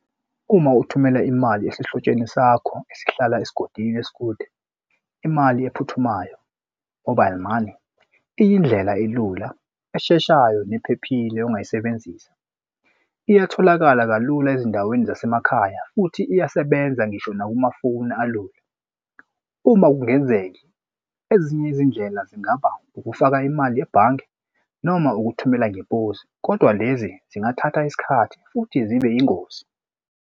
Uma ukuthumela imali esihlotsheni sakho esihlala esigodini esikude imali ephuthumayo mobile money, iyindlela elula esheshayo nephephile ongayisebenzisa. Iyatholakala kalula ezindaweni zasemakhaya futhi iyasebenza ngisho nakumafoni alula. Uma kungenzeki ezinye izindlela zingaba ukufaka imali ebhange noma ukuthumela ngeposi, kodwa lezi zingathatha isikhathi futhi zibe yingozi.